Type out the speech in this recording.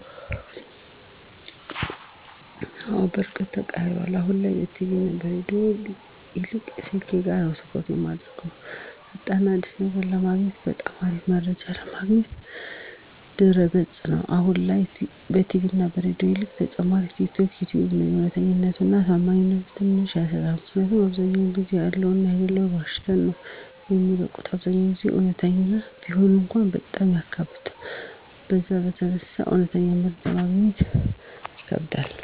አወ በርግጥ ተቀይሯል አሁን ላይ ከቲቪ እና ከሬዲዮ ይልቅ ስልኬ ጋ ነዉ ትኩረት እማረገዉ። ፈጣን እና አዲስ ነገር ለማግኘት በጣም አሪፍ መረጃ ማግኛ ድረገፅ ነዉ፣ አሁን ላይ ከቲቪ እና ከሬዲዮ ይልቅ ተመራጭ ቲክቶክ፣ ዩተዩብ ነዉ። እዉነተኛነቱ እና ታማኝነቱ ትንሽ ያሰጋል ምክኒያቱም አብዛዉ ጊዜ ያለዉንም የለለዉንም ዋሽተዉ ነዉ የሚለቁት አብዛኛዉን ጊዜ እዉነት ቢሆን እንኳን በጣም ያካብዱታል በዛ የተነሳ እዉነተኛ መረጃ ማግኘት ይከብዳል።